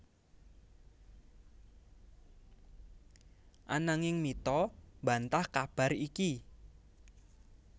Ananging Mitha mbantah kabar iki